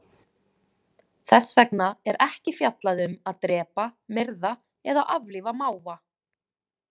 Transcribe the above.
Þess vegna er ekki fjallað um að drepa, myrða eða aflífa máva.